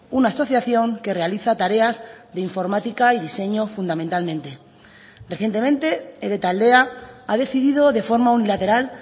una asociación que realiza tareas de informática y diseño fundamentalmente recientemente ede taldea ha decidido de forma unilateral